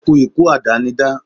ó kú ikú àdánidá